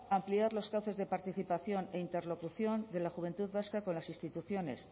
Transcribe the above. ampliar los cauces de participación e interlocución de la juventud vasca con las instituciones